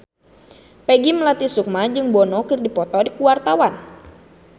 Peggy Melati Sukma jeung Bono keur dipoto ku wartawan